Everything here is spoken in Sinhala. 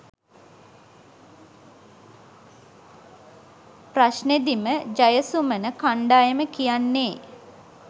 ප්‍රශ්නෙදිම ජයසුමන කණ්ඩායම කියන්නේ?